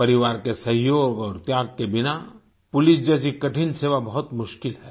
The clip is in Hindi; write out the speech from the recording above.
परिवार के सहयोग और त्याग के बिना पुलिस जैसी कठिन सेवा बहुत मुश्किल है